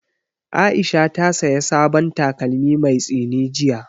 Aisha ta saya sabon takalmi mai tsini jiya